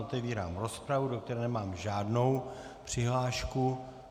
Otevírám rozpravu, do které nemám žádnou přihlášku.